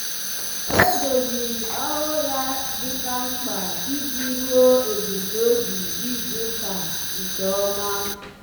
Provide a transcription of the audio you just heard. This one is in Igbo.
ọ́ dòzìrì ọ́rụ́ ya ya dika mkpa iji rúó èbùmnòbì izùùka nke ọ́ma.